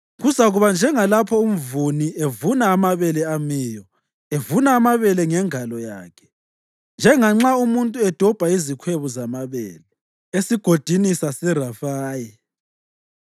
Kuzakuba njengalapho umvuni evuna amabele amiyo evuna amabele ngengalo yakhe, njenganxa umuntu edobha izikhwebu zamabele eSigodini saseRefayi.